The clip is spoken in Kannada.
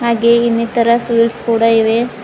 ಹಾಗೆ ಇನ್ನಿತರ ಸ್ವಿಟ್ಸ್ ಕೂಡ ಇವೆ.